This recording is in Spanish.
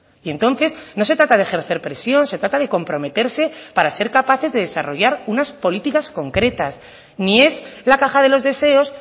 y entonces no se trata de ejercer presión se trata de comprometerse para ser capaces de desarrollar unas políticas concretas ni es la caja de los deseos